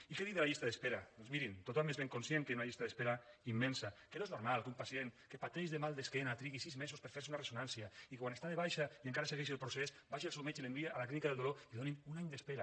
i què dir de la llista d’espera doncs mirin tothom n’és ben conscient que hi ha una llista d’espera immensa que no és normal que un pacient que pateix de mal d’esquena trigui sis mesos per fer se una ressonància i que quan està de baixa i encara segueix el procés vagi al seu metge i l’enviï a la clínica del dolor i li donin un any d’espera